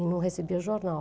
E não recebia jornal.